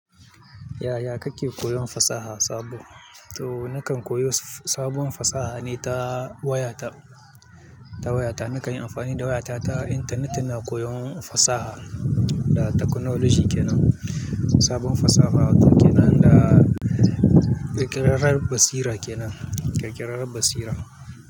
Yaya kake koyon fasaha sabo? Toh nakan koyo sabon fasaha ne ta wayata, ta wayata. Nakan yi amfani da wayata ta intanet ina koyon fasaha da technology ke nan. Sabon fasaha ke nan da ƙirƙirar basira ke nan, ƙirƙirar basira.